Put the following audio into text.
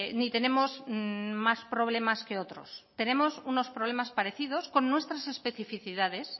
ni tenemos más problemas que otros tenemos unos problemas parecidos con nuestras especificidades